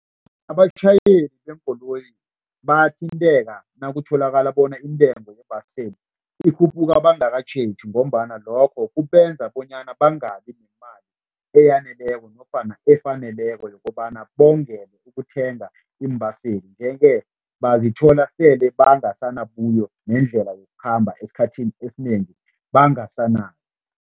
Abatjhayeli beenkoloyi bayathinteka nakutholakala bona intengo yeembaseli ikhuphuka ungakatjheji ngombana lokho kubenza bonyana bangabi nemali eyaneleko nofana efaneleko yokobana bongele ukuthenga iimbaseli nje-ke bazithola sele bangasanabuyo nendlela yokukhamba esikhathini esinengi, bangasanayo.